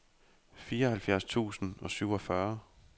fireoghalvfjerds tusind og syvogfyrre